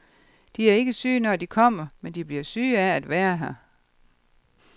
De er ikke syge, når de kommer, men de bliver syge af at være her.